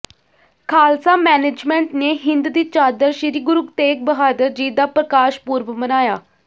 Khalsa management ਨੇ ਹਿੰਦ ਦੀ ਚਾਦਰ ਸ੍ਰੀ ਗੁਰੂ ਤੇਗ ਬਹਾਦਰ ਜੀ ਦਾ ਪ੍ਰਕਾਸ਼ ਪੁਰਬ ਮਨਾਇਆ